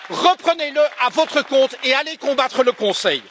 Reprenez le à votre compte et allez combattre le Conseil!